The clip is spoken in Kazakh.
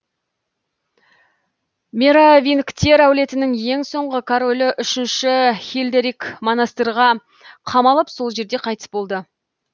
меровингтер әулетінің ең соңғы королі үшінші хильдерик монастырьға қамалып сол жерде қайтыс болды